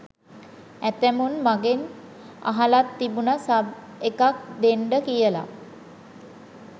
ඇතැමුන් මගෙන් අහලත් තිබුණ සබ් එකක් දෙන්ඩ කියල.